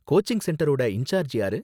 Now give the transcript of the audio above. Coaching சென்டரோட incharge யாரு?